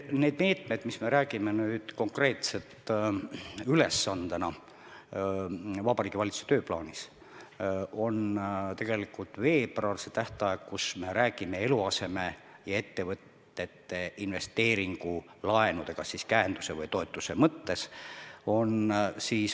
Need meetmed, millest me räägime nüüd konkreetsete ülesannetena Vabariigi Valitsuse tööplaanis – tegelikult on veebruar see tähtaeg –, me räägime eluaseme- ja ettevõtete investeeringulaenudest käenduse või toetuse mõttes.